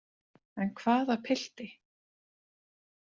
En hvaða pilti?